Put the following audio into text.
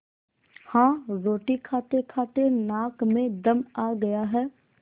हाँ रोटी खातेखाते नाक में दम आ गया है